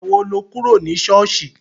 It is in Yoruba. Ìgbà wo lo kúrò ní ṣọ́ọ̀ṣì?